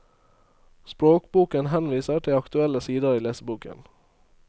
Språkboken henviser til aktuelle sider i leseboken.